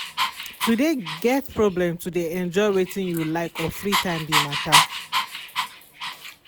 to de get problem to de enjoy wetin you like or free time be matter.